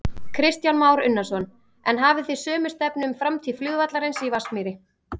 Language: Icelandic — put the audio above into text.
Kristján Már Unnarsson: En hafið þið sömu stefnu um framtíð flugvallarins í Vatnsmýri?